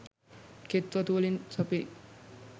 කෙත් වතු වලින් සපිරි